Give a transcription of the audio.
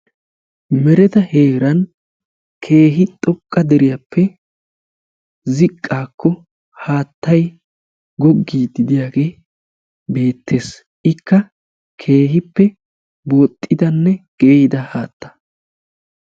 meteta heeran keehi xoqqa deriyappe xoqaappe ziqaa wodhiyaagee beetees. iqa qassi keehippe booxida haatta.